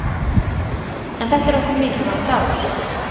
En þetta er okkur mikilvægur dagur.